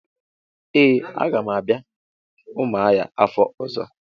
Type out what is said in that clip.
Ee a ga m abia Umuahia afo ozo.